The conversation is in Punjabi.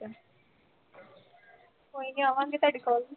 ਕੋਈ ਨੀਂ ਆਵਾਂਗੇ ਤੁਹਾਡੇ ਕੋਲ ਵੀ